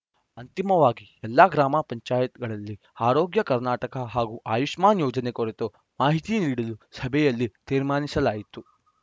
ಅಂತಿಮವಾಗಿ ಎಲ್ಲಾ ಗ್ರಾಮ ಪಂಚಾಯತ್‌ಗಳಲ್ಲಿ ಆರೋಗ್ಯ ಕರ್ನಾಟಕ ಹಾಗೂ ಆಯುಷ್ಮಾನ್‌ ಯೋಜನೆ ಕುರಿತು ಮಾಹಿತಿ ನೀಡಲು ಸಭೆಯಲ್ಲಿ ತೀರ್ಮಾನಿಸಲಾಯಿತು